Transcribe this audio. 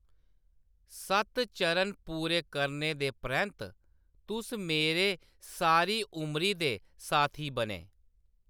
सत्त चरण पूरे करने दे परैंत्त, तुस मेरे सारी उमरी दे साथी बने।